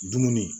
Dumuni